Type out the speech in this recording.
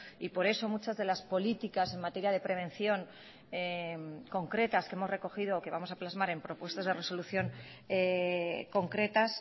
y por eso muchas de las políticas en materia de prevención concretas que hemos recogido que vamos a plasmar en propuestas de resolución concretas